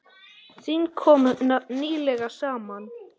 Þing kom nýlega saman.